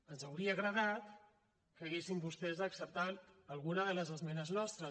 ens hauria agradat que haguessin vostès acceptat alguna de les esmenes nostres